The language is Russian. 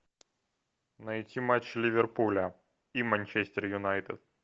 найти матч ливерпуля и манчестер юнайтед